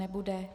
Nebude.